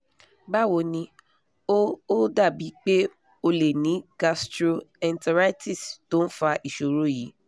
báwo ni ó ó dàbí pé o lè ní gastro-enteritis tó ń fa ìṣòro yìí